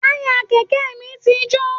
Taya kẹkẹ mí tí jo